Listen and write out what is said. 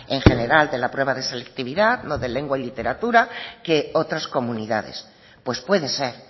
en general de la prueba de selectividad lo de lengua y literatura que otras comunidades pues puede ser